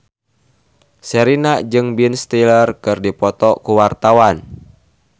Sherina jeung Ben Stiller keur dipoto ku wartawan